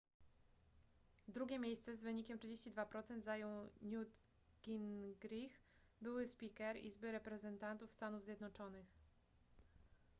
drugie miejsce z wynikiem 32% zajął newt gingrich były spiker izby reprezentantów stanów zjednoczonych